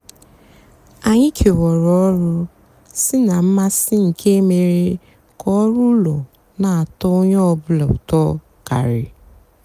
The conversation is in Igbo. ányị kewárá ọrụ sị ná mmasị nkè mére kà ọrụ úló nà-àtọ ónyé ọ bụlà útọ karị.